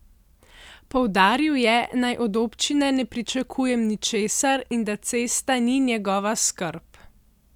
Poudaril je, naj od občine ne pričakujem ničesar in da cesta ni njegova skrb.